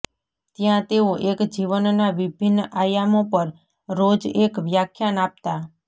ત્યાં તેઓ એક જીવનના વિભિન્ન આયામો પર રોજ એક વ્યાખ્યાન આપતા